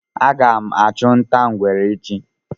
Aga m achu nta ngwere echi